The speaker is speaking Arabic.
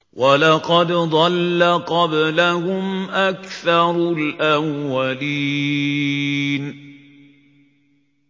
وَلَقَدْ ضَلَّ قَبْلَهُمْ أَكْثَرُ الْأَوَّلِينَ